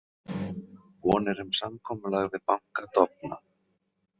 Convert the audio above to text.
Vonir um samkomulag við banka dofna